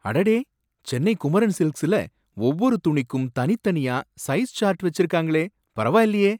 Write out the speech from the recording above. அடடே! சென்னை குமரன் சில்க்ஸ்ல ஒவ்வொரு துணிக்கும் தனித்தனியா சைஸ் சார்ட் வச்சிருக்காங்களே, பரவாயில்லையே!